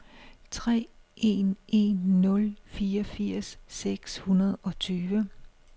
tre en en nul fireogfirs seks hundrede og tyve